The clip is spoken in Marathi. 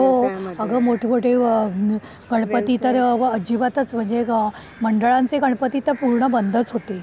हो. अगं मोठे मोठे गणपती तर अजिबातच म्हणजे मंडळांचे गणपती तर पूर्ण बंदच होते.